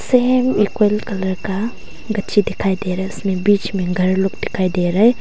Same equal colour का गच्ची दिखाई दे रहा है इसमें बीच में घर लोग दिखाई दे रहा है।